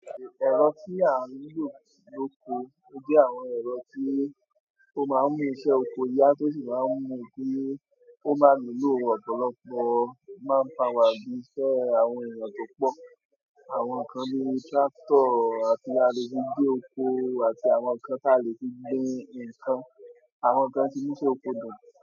Ẹ̀rọ tí a ń lò lókòó o jẹ́ àwọn ẹ̀rọ tí ó máa ń mú iṣẹ́ oko yá tó sì máa ń mú kí ó máa nílò ọ̀pọ̀lọpọ̀ man power bí iṣẹ́ àwọn èèyàn tó pọ̀. Àwọn nǹkan bíi tractor ti a le fi gé oko àti àwọn nǹkan tí a lè fi gbé nǹkan, àwọn nǹkan tí n mu iṣe oko dùn.